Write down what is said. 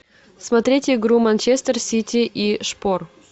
смотреть игру манчестер сити и шпор